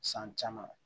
San caman